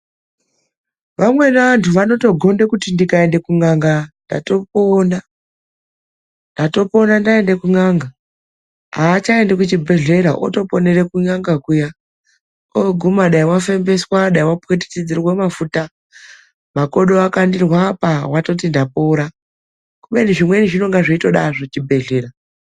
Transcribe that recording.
Vamweni vandu vanogonda kuti ndikaenda kun'anga ndatopona. Ndatopona ndaende kun'anga. Aachaendi kuchibhedhlera, otoponere kun'anga kuya. Ooguma dai wafembeswa, dai wapwititidzirwe mafuta. Makodo akandirwe apa watoti ndapora, kubeni zvimweni zvinonga zveitoda azvo chibhedhlera.